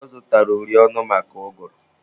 Ọ zụtara uri ọnụ maka ụgụrụ.